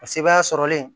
Paseke baa sɔrɔlen